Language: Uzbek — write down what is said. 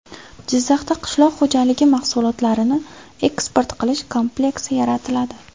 Jizzaxda qishloq xo‘jaligi mahsulotlarini eksport qilish kompleksi yaratiladi.